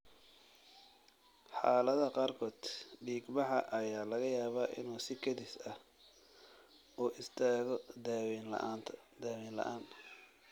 Xaaladaha qaarkood, dhiigbaxa ayaa laga yaabaa inuu si kedis ah u istaago daaweyn la'aan.